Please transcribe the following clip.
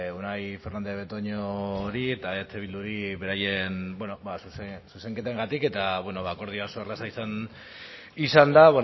unai fernandez de betoñori eta eh bilduri beraien bueno zuzenketengatik eta bueno akordioa oso erraza izan da